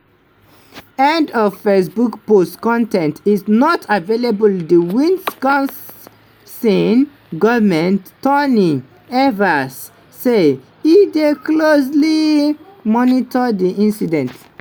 end of facebook post con ten t is not available di wisconsin govment tony evers say e dey closely monitor di incident.